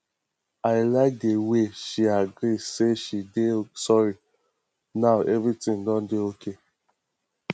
i like the way she agree say she dey sorry now everything don dey okay